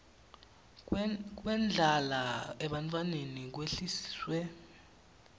kwendlala ebantfwaneni kwehliswe